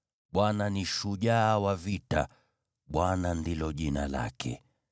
Bwana ni shujaa wa vita; Bwana ndilo jina lake.